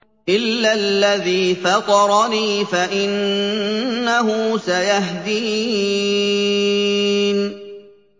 إِلَّا الَّذِي فَطَرَنِي فَإِنَّهُ سَيَهْدِينِ